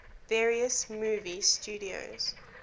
various movie studios